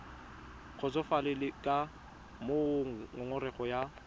kgotsofalele ka moo ngongorego ya